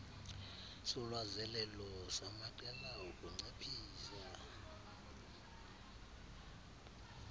solwazelelo samaqela okunciphisa